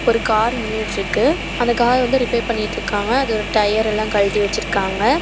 ஒரு கார் நின்னுட்ருக்கு அந்த கார் வந்து ரிப்பேர் பண்ணிட்ருக்காங்க அதோட டயர் எல்லாம் கழட்டி வெச்சுருக்காங்க.